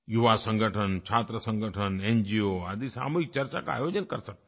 युवा संगठन छात्र संगठन एनजीओ आदि सामूहिक चर्चा का आयोजन कर सकते हैं